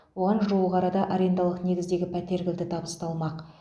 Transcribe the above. оған жуық арада арендалық негіздегі пәтер кілті табысталмақ